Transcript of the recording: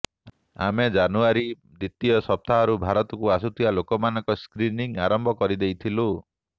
ଆମେ ଜାନୁଆରୀ ଦ୍ବିତୀୟ ସପ୍ତାହରୁ ଭାରତକୁ ଆସୁଥିବା ଲୋକଙ୍କ ସ୍କ୍ରିନିଂ ଆରମ୍ଭ କରି ଦେଇଥିଲୁ